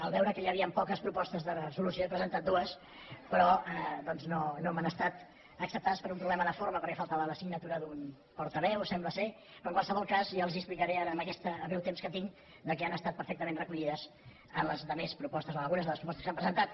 al veure que hi havien poques propostes de resolució n’he presentat dues però doncs no m’han estat acceptades per un problema de forma perquè faltava la signatura d’un portaveu sembla però en qualsevol cas els explicaré amb aquest breu temps que tinc que han estat perfectament recollides en la resta de propostes o en algunes de les propostes que s’han presentat